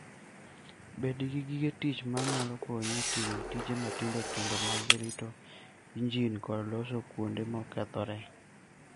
Bed gi gige tich ma nyalo konyo e timo tije matindo tindo mag rito injin kod loso kuonde mokethore.